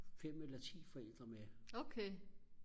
fem eller ti forældre med